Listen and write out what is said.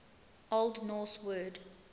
old norse word